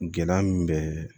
Gɛlɛya min bɛ